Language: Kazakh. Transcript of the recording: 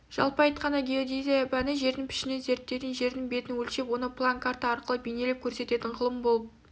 жалпы айтқанда геодезия пәні жердің пішінін зерттейтін жердің бетін өлшеп оны план карта арқылы бейнелеп көрсететін ғылым болып